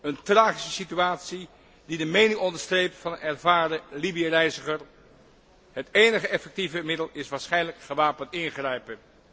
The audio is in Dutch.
Een tragische situatie die de mening onderstreept van een ervaren Libië reiziger het enige effectieve middel is waarschijnlijk gewapend ingrijpen.